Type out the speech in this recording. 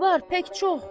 Var, tək çox.